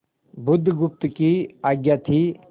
बुधगुप्त की आज्ञा थी